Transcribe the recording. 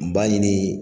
Baɲini